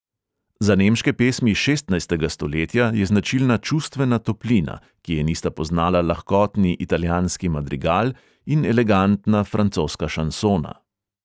Za nemške pesmi šestnajstega stoletja je značilna čustvena toplina, ki je nista poznala lahkotni italijanski madrigal in elegantna francoska šansona.